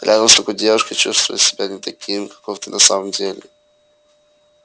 рядом с такой девушкой чувствуешь себя не таким каков ты на самом деле